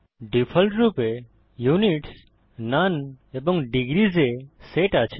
ডিফল্টরূপে units none এবং degrees এ সেট আছে